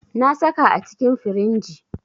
Na saka a cikin firinji.